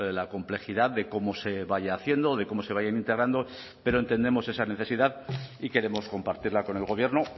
la complejidad de cómo se vaya haciendo de cómo se vayan integrando pero entendemos esa necesidad y queremos compartirla con el gobierno